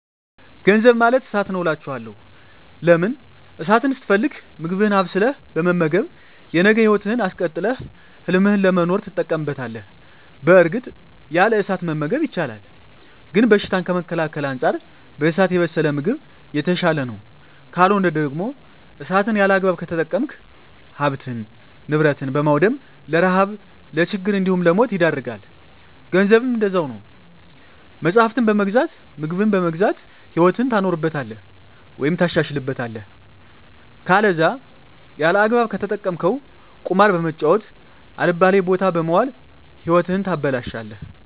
ገንዘብ ማለት እሳት ነዉ አላቸዋለሁ። ለምን እሳትን ስትፈልግ ምግብህን አብስለህ በመመገብ የነገ ህይወትህን አስቀጥለህ ህልምህን ለመኖር ትጠቀምበታለህ በእርግጥ ያለ እሳት መመገብ ይቻላል ግን በሽታን ከመከላከል አንፃር በእሳት የበሰለ ምግብ የተሻለ ነዉ። ካልሆነ ደግሞ እሳትን ያለአግባብ ከተጠቀምክ ሀብትን ንብረት በማዉደም ለረሀብ ለችግር እንዲሁም ለሞት ይዳርጋል። ገንዘብም እንደዛዉ ነዉ መፅሀፍትን በመግዛት ምግብን በመግዛት ህይወትህን ታኖርበታለህ ወይም ታሻሽልበታለህ ከለዛ ያለአግባብ ከተጠቀምከዉ ቁማር በመጫወት አልባሌ ቦታ በመዋል ህይወትህን ታበላሸለህ።